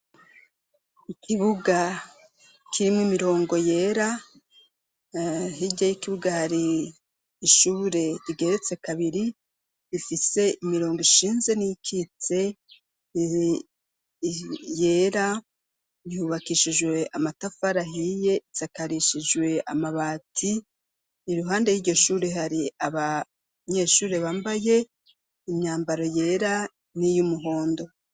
Ikibuga kirimwo imirongo yera hirya y'ikibuga hari ishure igeretse kabiri ifise imirongo ishinze n'ikitse yera yubakishijwe amatafara hiye itsakarishijwe amabati iruhande y'igishuri hari abanyeshure bambaye imyambaro yera n'iyumuhondo.